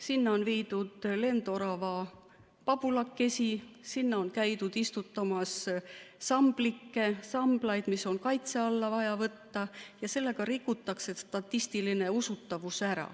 Sinna on viidud lendorava pabulakesi, sinna on käidud istutamas samblikke, samblaid, mis on kaitse alla vaja võtta, ja sellega rikutaks statistiline usutavus ära.